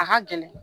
A ka gɛlɛn